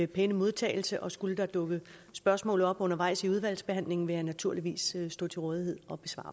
pæne modtagelse skulle der dukke spørgsmål op undervejs i udvalgsbehandlingen vil jeg naturligvis stå til rådighed